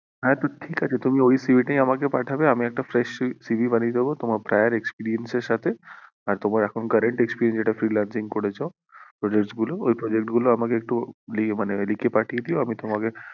হ্যাঁ তো ঠিক আছে তুমি ওই CV টাই আমাকে পাঠাবে আমি একটা fresh CV বানিয়ে দেব তোমার prior experience এর সাথে তোমার এখন current experience এখন যেটা freelancing করেছো project গুলো ওই project গুলো মানে আমাকে একটু লিখে পাঠিয়ে দিয়ো আমি তোমাকে